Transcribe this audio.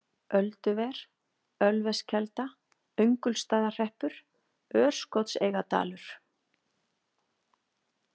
Ölduver, Ölveskelda, Öngulsstaðahreppur, Örskotseigadalur